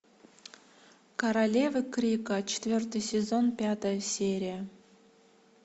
королевы крика четвертый сезон пятая серия